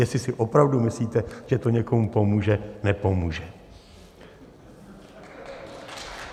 Jestli si opravdu myslíte, že to někomu pomůže - nepomůže."